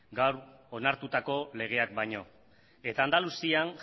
gaur onartutako legeak baino eta andaluzian